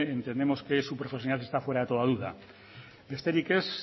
entendemos que su profesionalidad está fuera de toda duda besterik ez